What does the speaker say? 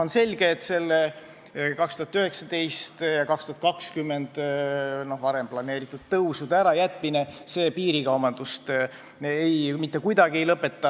On selge, et 2019. ja 2020. aastaks planeeritud tõusude ärajätmine piirikaubandust mitte kuidagi ei lõpeta.